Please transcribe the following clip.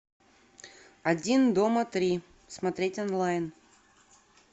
один дома три смотреть онлайн